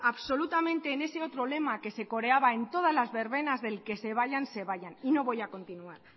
absolutamente en ese otro lema que se coreaba en todas las verbenas del que se vayan se vayan y no voy a continuar